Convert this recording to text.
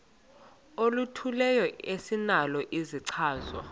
oluthile esinalo isichazwa